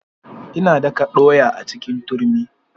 Ina daka ɗoya a cikin turmi.